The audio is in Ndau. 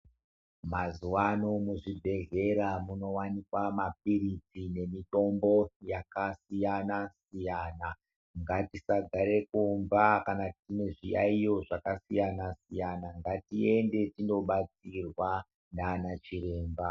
Mazuva ano mu zvibhedhlera muno wanikwa ma pilizi ne mitombo yaka siyana siyana ngatisa gare kumba kana tine zviyayiyo zvaka siyana siyana ngati ende tino batsirwa nana chiremba.